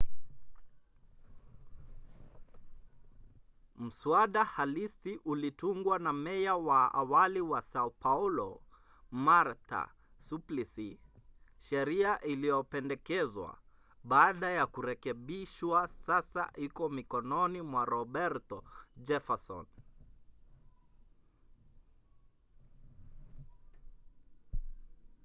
mswada halisi ulitungwa na meya wa awali wa sao paulo marta suplicy. sheria iliyopendekezwa baada ya kurekebishwa sasa iko mikononi mwa roberto jefferson